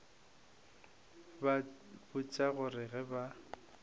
ba botša gore ge ba